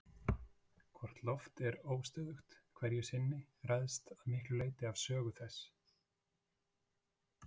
Hvort loft er óstöðugt hverju sinni ræðst að miklu leyti af sögu þess.